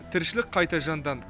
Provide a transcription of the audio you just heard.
тіршілік қайта жанданды